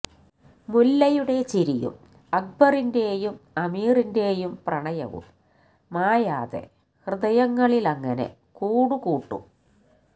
മുല്ലയുടെ ചിരിയും അക്ബറിന്റെയും അമീറിന്റെയും പ്രണയവും മായാതെ ഹൃദയങ്ങളിലങ്ങനെ കൂടുകൂട്ടും